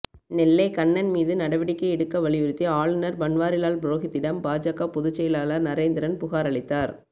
நெல்லை கண்ணன் மீது நடவடிக்கை எடுக்க வலியுறுத்தி ஆளுநர் பன்வாரிலால் புரோஹித்திடம் பாஜக பொதுச் செயலாளர் நரேந்திரன் புகாரளித்தார்